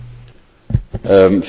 Vielen Dank für die Frage.